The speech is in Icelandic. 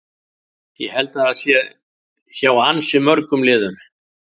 Ég held að það sé hjá ansi mörgum liðum.